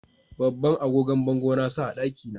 Babban agogon bango na sa a daki na